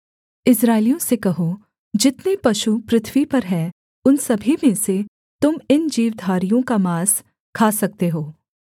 इस्राएलियों से कहो जितने पशु पृथ्वी पर हैं उन सभी में से तुम इन जीवधारियों का माँस खा सकते हो